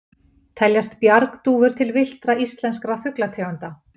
Teljast bjargdúfur til villtra íslenskra fuglategunda?